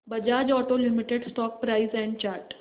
Bajaj auto limited stock price and chart